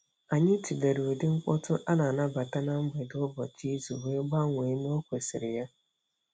Anyị tụlere ụdị mkpọtụ a na-anabata na mgbede ụbọchị izu wee gbanwee n'okwesiri ya.